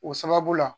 O sababu la